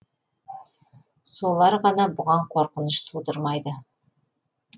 солар ғана бұған қорқыныш тудырмайды